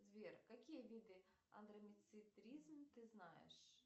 сбер какие виды андромецитризм ты знаешь